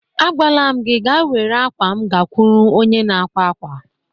Agwaala m gị ka were akwa m gakwuru onye na-akwa akwa